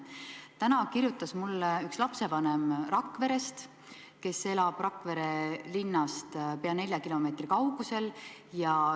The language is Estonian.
Täna kirjutas mulle üks lapsevanem Rakverest, kes elab Rakvere linnast pea nelja kilomeetri kaugusel.